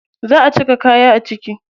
Za a cire kaya a ciki.